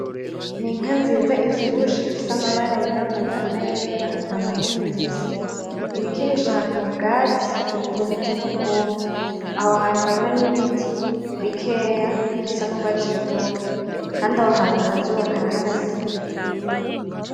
Ni inka nziza ivyibushe ifise amabara y'irabura nayera nta mahembe ifise, iriko irisha ahantu mu bwatsi bumeze nkubumye aho hantu hariho n'ibiti bikeya bisa n'urwatsi rutoto, kandi aho hantu akazuba karaharasira.